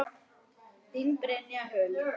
Þín, Brynja Huld.